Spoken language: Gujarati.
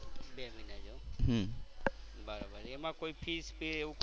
બે મહિના જેવુ એમ. બરોબર એમાં કોઈ fees કે એવું